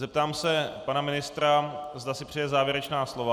Zeptám se pana ministra, zda si přeje závěrečná slova.